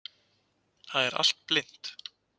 Það er allt blint.